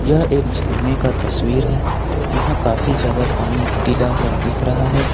यह एक झरने का तस्वीर है यहां काफी ज्यादा पानी ढीला हुआ दिख रहा है।